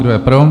Kdo je pro?